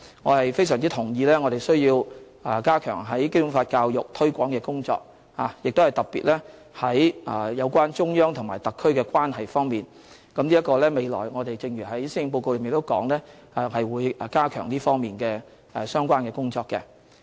我非常同意我們需要加強《基本法》教育、推廣的工作，特別是有關中央和特區的關係方面，正如在施政報告中提及我們會加強這方面的相關工作。